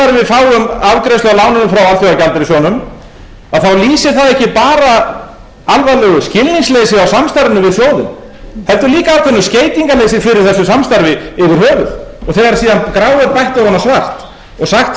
alþjóðagjaldeyrissjóðnum að þá lýsir það ekki bara alvarlegu skilningsleysi á samstarfinu við sjóðinn heldur líka ákveðnu skeytingarleysi fyrir þessu samstarfi yfir höfuð þegar síðan gráu er bætt ofan á svart og sagt